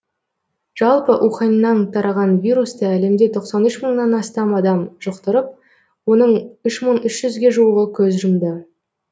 жалпы уханьнан тараған вирусты әлемде тоқсан үш мыңнан астам адам жұқтырып оның үш мың үш жүзге жуығы көз жұмды